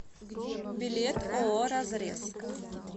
билет ооо разрез